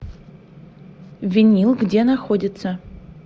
винил где находится